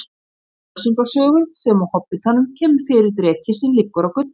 Í Völsunga sögu sem og Hobbitanum kemur fyrir dreki sem liggur á gulli.